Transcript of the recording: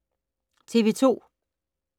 TV 2